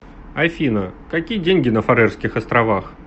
афина какие деньги на фарерских островах